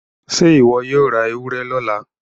ṣe iwọ yóò rá ewúrẹ lọla?